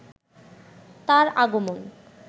তার আগমন